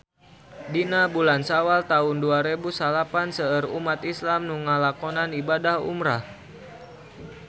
Dina bulan Sawal taun dua rebu salapan seueur umat islam nu ngalakonan ibadah umrah